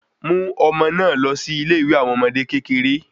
Mú ọmọ na lọ sí ilé ìwé àwọn ọmọdé kékeré